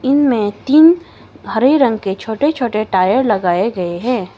इनमें तीन हरे रंग के छोटे छोटे टायर लगाए गए हैं।